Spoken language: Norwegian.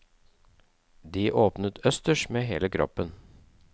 De åpnet østers med hele kroppen.